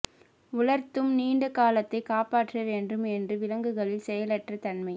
உலர்த்தும் நீண்ட காலத்தை காப்பாற்ற வேண்டும் என்று விலங்குகளில் செயலற்ற தன்மை